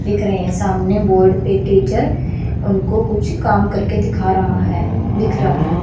दिख रहे हैं सामने बोर्ड पे टीचर उनको कुछ काम करके दिखा रहा है दिख रहा है।